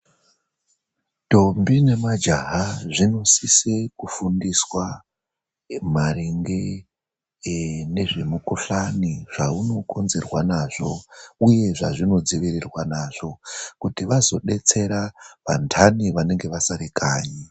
Ndombi nemajaha zvinosise kufundiswa maringe ,ee nezvemukhuhlani ,zvaunokonzerwa nazvo, uye zvazvinodzivirirwa nazvo, kuti vazodetsera vantani vanenge vasare kanyi.